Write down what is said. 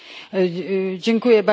Panie Przewodniczący!